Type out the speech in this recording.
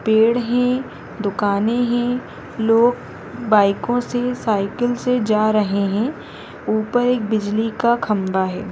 पेड़ है दुकानें है लोग बाइकों से साइकिल से जा रहे हैं ऊपर एक बिजली का खम्बा है।